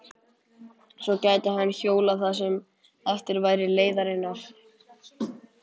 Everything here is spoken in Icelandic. Svo gæti hann hjólað það sem eftir væri leiðarinnar.